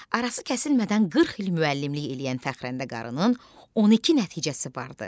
Arası kəsilmədən 40 il müəllimlik eləyən Fəxrəndə Qarının 12 nəticəsi vardı.